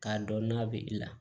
K'a dɔn n'a bɛ i la